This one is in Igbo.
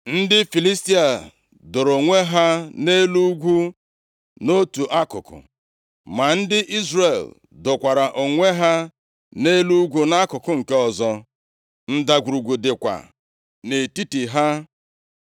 Ndị Filistia doro onwe ha nʼelu ugwu nʼotu akụkụ, ma ndị Izrel dokwara onwe ha nʼelu ugwu nʼakụkụ nke ọzọ. Ndagwurugwu dịkwa nʼetiti ha.